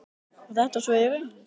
Var þetta svo í raun?